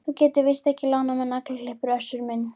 Þú getur víst ekki lánað mér naglaklippur Össur minn.